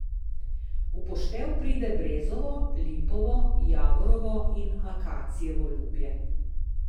V poštev pride brezovo, lipovo, javorovo in akacijevo lubje.